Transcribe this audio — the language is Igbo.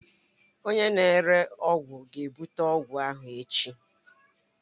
Onye na-ere ọgwụ ga-ebute ọgwụ ahụ echi